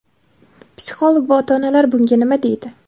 psixolog va ota-onalar bunga nima deydi?.